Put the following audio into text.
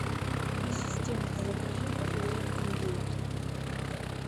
ассистент закажи филе индейки